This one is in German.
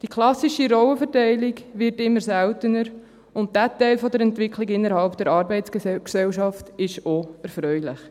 Die klassische Rollenverteilung wird immer seltener, und dieser Teil der Entwicklung innerhalb der Arbeitsgesellschaft ist auch erfreulich.